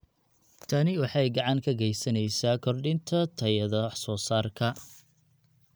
Tani waxay gacan ka geysaneysaa kordhinta tayada wax soo saarka.